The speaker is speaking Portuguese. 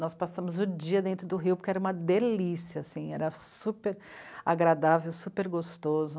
Nós passamos o dia dentro do rio porque era uma delícia assim, era super agradável, super gostoso.